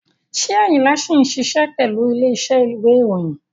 Ṣé Ayinla ṣì ń ṣiṣẹ́ pẹ̀lú ilé iṣẹ́ ìwé ìròyìn?